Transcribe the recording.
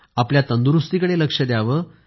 आपल्या तंदुरूस्तीकडे लक्ष द्यावं